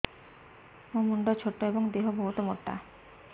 ମୋ ମୁଣ୍ଡ ଛୋଟ ଏଵଂ ଦେହ ବହୁତ ମୋଟା